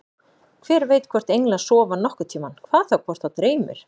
Hver veit hvort englar sofa nokkurn tímann, hvað þá hvort þá dreymir.